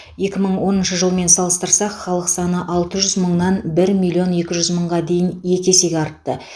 екі мың оныншы жылмен салыстырсақ халық саны алты жүз мыңнан бір миллион екі жүз мыңға дейін екі есеге артты